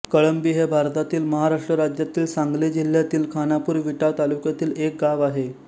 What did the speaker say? कळंबी हे भारतातील महाराष्ट्र राज्यातील सांगली जिल्ह्यातील खानापूर विटा तालुक्यातील एक गाव आहे